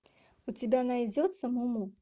у тебя найдется му му